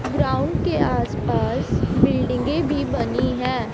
Ground के आस पास बिल्डिंगे भी बनी है।